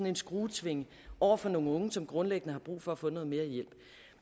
en skruetvinge over for nogle unge som grundlæggende har brug for at få noget mere hjælp